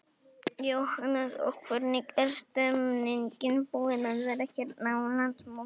Jóhannes: Og hvernig er stemmningin búin að vera hérna á landsmóti?